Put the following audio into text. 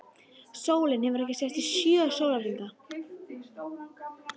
Sólin hefur ekki sest í sjö sólarhringa.